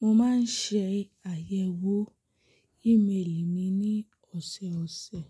Mo máa ń ṣe àyẹ̀wò email mi ní ọ̀sọ̀ọ̀sẹ̀.